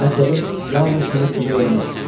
Məqsədim yalnız sənə kömək eləməkdir.